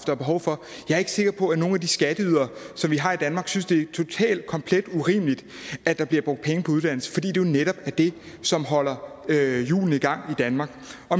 var behov for jeg er ikke sikker på at nogen af de skatteydere vi har i danmark synes det er totalt komplet urimeligt at der bliver brugt penge på uddannelse fordi det jo netop er det som holder hjulene i gang i danmark